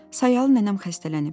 Sayalı nənəm xəstələnib."